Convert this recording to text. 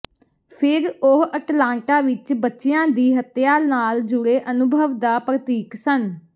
ਫਿਰ ਉਹ ਅਟਲਾਂਟਾ ਵਿਚ ਬੱਚਿਆਂ ਦੀ ਹੱਤਿਆ ਨਾਲ ਜੁੜੇ ਅਨੁਭਵ ਦਾ ਪ੍ਰਤੀਕ ਸਨ